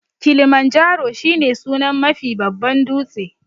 Kilimanjaro shi ne sunan Mafi babban dūtse